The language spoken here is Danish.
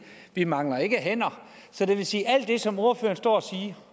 vi mangler ikke hænder så det vil sige at alt det som ordføreren står og